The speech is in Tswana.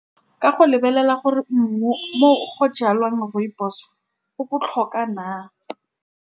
Ka go lebelela gore mmu, mo go jalwang rooibos-o go botlhokwa na.